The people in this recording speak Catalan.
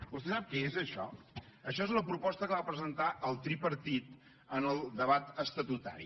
vostè sap què és això això és la proposta que va presentar el tripartit en el debat estatutari